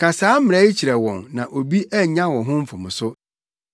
Ka saa mmara yi kyerɛ wɔn na obi annya wo ho mfomso.